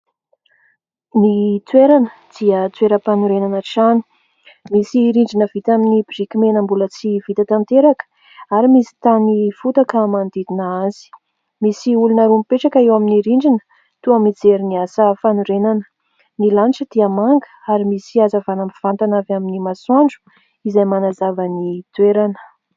Ny toerana dia toeram-panorenana trano. Misy rindrina vita amin'ny biriky mena mbola tsy vita tanteraka ary misy tany fotaka manodidina azy. Misy olona roa mipetraka eo amin'ny rindrina, toa mijery ny asa fanorenana. Ny lanitra dia manga ary misy hazavana mivantana avy amin'ny masoandro izay manazava ny toerana.